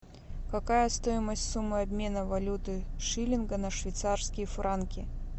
какая стоимость суммы обмена валюты шиллинга на швейцарские франки